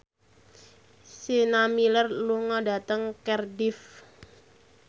Sienna Miller lunga dhateng Cardiff